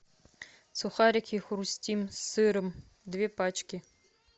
сухарики хрустим с сыром две пачки